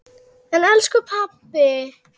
En elsku pabbi!